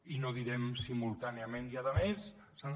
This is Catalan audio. i no direm simultàniament i a més s’han